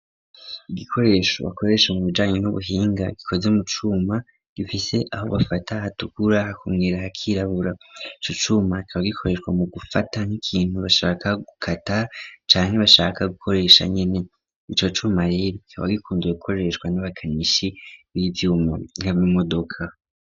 Igikoresho bakoresha mu bijanyi n'ubuhinga gikoze mu cuma .Gifise aho bafata hatukura hakumwira hakirabura cocuma kaba gikoreshwa mu gufata nk'ikintu bashaka gukata cane bashaka gukoresha nyene ico cuma ye bikaba gikunduwe gukoreshwa n'abakanishi bivyuma nkabimodoka.